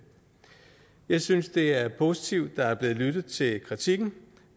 jeg synes det er positivt at der er blevet lyttet til kritikken